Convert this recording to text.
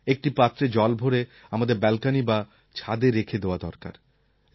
একটি পাত্রে জল ভরে আমাদের ব্যালকনি বা ছাদে রেখে দেওয়া দরকার